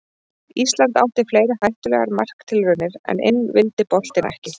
Ísland átti fleiri hættulegar marktilraunir en inn vildi boltinn ekki.